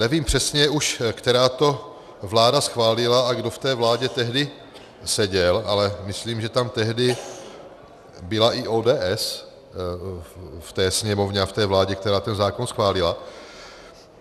Nevím přesně už, která vláda to schválila a kdo v té vládě tehdy seděl, ale myslím, že tam tehdy byla i ODS v té Sněmovně a v té vládě, která ten zákon schválila.